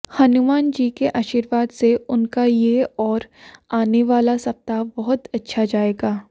हनुमान जी के आशीर्वाद से उनका ये और आने वाला सप्ताह बहुत अच्छा जाएगा